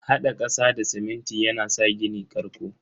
Hada kasa da siminti yana sa gini karƙo.